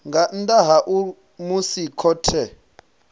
nga nnḓa ha musi khothe